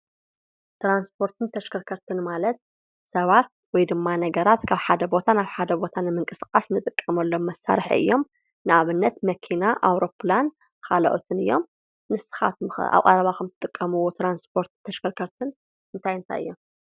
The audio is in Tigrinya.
ትራንስፖርትን ተሽከርከርትን ማለት ሰባት ወይድማ ነገራት ካብ ሓደ ቦታ ናብ ሓደ ቦታ ንምንቅስቃስ ንጥቀመሎም መሳርሒ እዮም፤ ንኣብነት መኪና ኣዉሮፕላን ካልኦትን እዮም። ንስካትኩም ከ ኣብ ቀረባኩም ትጥቀምዎ ትራንስፖርትን ተሽከርከርትን እንታይ እንታይ እዮም?